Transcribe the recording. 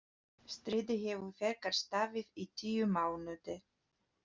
Stríðið hefur þegar staðið í tíu mánuði.